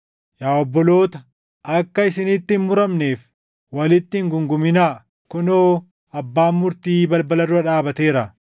Yaa obboloota, akka isinitti hin muramneef walitti hin guunguminaa. Kunoo, Abbaan Murtii balbala dura dhaabateera.